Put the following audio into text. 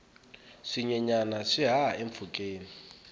swinyenyana swi haha empfhukeni